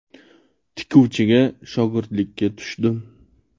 Tikuvchiga shogirdlikka tushdim.